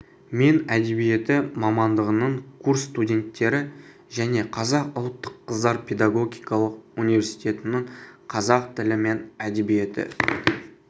мен әдебиеті мамандығының курс студенттері және қазақ ұлттық қыздар педагогикалық университетінің қазақ тілі мен әдебиеті